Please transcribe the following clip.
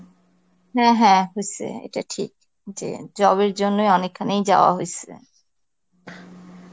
হ্যাঁ হ্যাঁ হইসে, এটা ঠিক যে job এর জন্যই অনেকখানেই যাওয়া হইসে.